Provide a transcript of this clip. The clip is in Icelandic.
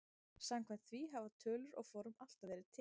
Samkvæmt því hafa tölur og form alltaf verið til.